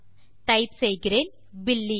type செய்கிறேன் பில்லி